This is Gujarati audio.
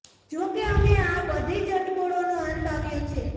જો કે હવે આ બધી જ અટકળોનો અંત આવ્યો છે